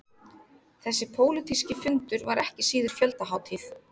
Þessi pólitíski fundur var ekki síður fjöldahátíð